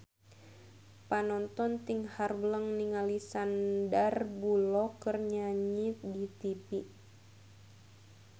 Panonton ting haruleng ningali Sandar Bullock keur nyanyi di tipi